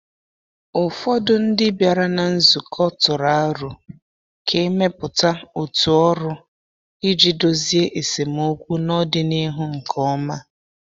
Ụfọdụ ndị bịara na nzukọ tụrụ aro ka e mepụta otu ọrụ iji dozie esemokwu n’ọdịnihu nke ọma.